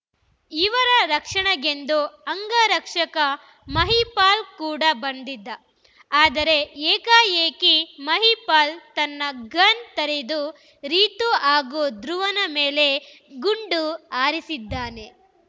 ಇವರ ರಕ್ಷಣೆಗೆಂದು ಅಂಗರಕ್ಷಕ ಮಹಿಪಾಲ್‌ ಕೂಡ ಬಂದಿದ್ದ ಆದರೆ ಏಕಾಏಕಿ ಮಹಿಪಾಲ್‌ ತನ್ನ ಗನ್‌ ತೆಗೆದು ರೀತು ಹಾಗೂ ಧ್ರುವನ ಮೇಲೆ ಗುಂಡು ಹಾರಿಸಿದ್ದಾನೆ